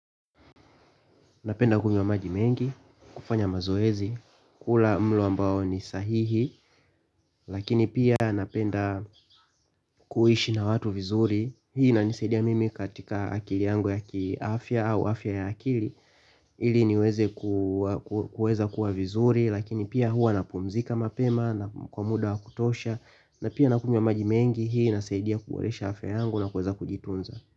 Napenda kunywa maji mengi, kufanya mazoezi, kula mlo ambao ni sahihi. Lakini pia napenda kuishi na watu vizuri. Hii inanisaidia mimi katika akili yangu ya ki afya au afya ya akili ili niweze kuweza kua vizuri. Lakini pia hua napumzika mapema na kwa muda kutosha na pia na kunywa maji mengi hii inasaidia kuboresha afya yangu na kuweza kujitunza.